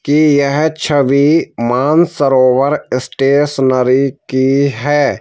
की यह छवि मानसरोवर स्टेशनरी की है ।